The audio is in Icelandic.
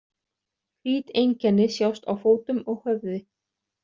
Hvít einkenni sjást á fótum og höfði.